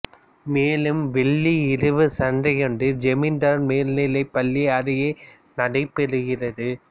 மேலும் வெள்ளி இரவு சந்தையொன்று ஜமிந்தார் மேல் நிலைப் பள்ளி அருகே நடைபெறுகிறது